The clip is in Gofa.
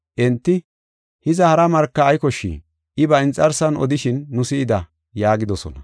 Enti, “Hiza, hara marka ay koshshii? I ba inxarsan odishin nu si7ida” yaagidosona.